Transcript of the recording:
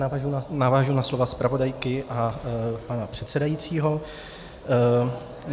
Navazuji na slovo zpravodajky a pana předsedajícího.